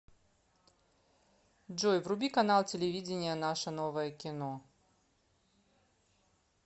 джой вруби канал телевидения наше новое кино